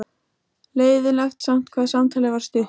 Leiðinlegt samt hvað samtalið var stutt.